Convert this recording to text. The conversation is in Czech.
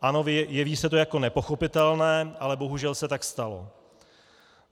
Ano, jeví se to jako nepochopitelné, ale bohužel se tak stalo.